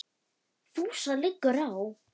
FÚSA LIGGUR Á